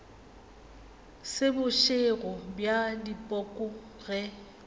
se bošego bja dipoko ge